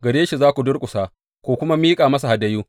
Gare shi za ku durƙusa ku kuma miƙa masa hadayu.